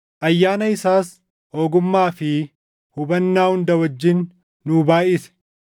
ayyaana isaas ogummaa fi hubannaa hunda wajjin nuu baayʼise.